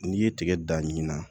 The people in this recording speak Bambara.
N'i ye tigɛ dan ɲinan